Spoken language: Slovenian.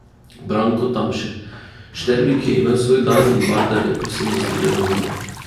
Branko Tamše: "Šterbik je imel svoj dan in Vardar je povsem zasluženo zmagal.